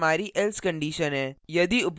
यह हमारी else condition है